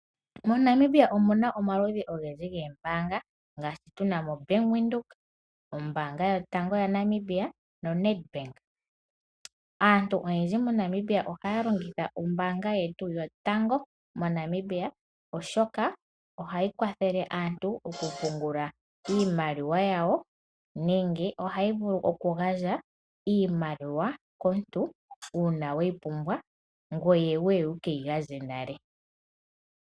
MoNamibia omu na omaludhi ogendji goombanga ngaashi tu na mo; Bank Windhoek, ombaanga yotango yaNamibia noNedbank. Aantu oyendji moNamibia ohaya longitha ombaanga yetu yotango moNamibia oshoka ohayi kwathele aantu okupungula iimaliwa yawo nenge ohayi vulu okugandja iimaliwa komuntu uuna weyi pumbwa ngoye wuye wu ke yi gandje nale.